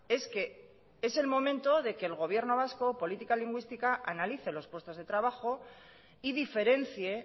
es que es el momento de que el gobierno vasco política lingüística analice los puestos de trabajo y diferencie